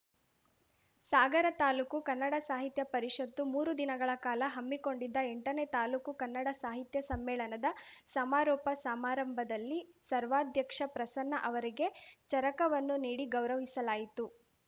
ಸಾಗರ ತಾಲೂಕು ಕನ್ನಡ ಸಾಹಿತ್ಯ ಪರಿಷತ್ತು ಮೂರು ದಿನಗಳ ಕಾಲ ಹಮ್ಮಿಕೊಂಡಿದ್ದ ಎಂಟನೇ ತಾಲೂಕು ಕನ್ನಡ ಸಾಹಿತ್ಯ ಸಮ್ಮೇಳನದ ಸಮಾರೋಪ ಸಮಾರಂಭದಲ್ಲಿ ಸರ್ವಾಧ್ಯಕ್ಷ ಪ್ರಸನ್ನ ಅವರಿಗೆ ಚರಕವನ್ನು ನೀಡಿ ಗೌರವಿಸಲಾಯಿತು